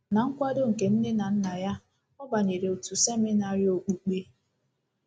Ná nkwado nke nne na nna ya, ọ banyere otu seminarị okpukpe.